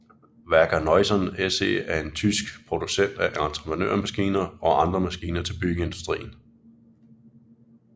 Wacker Neuson SE er en tysk producent af entreprenørmaskiner og andre maskiner til byggeindustrien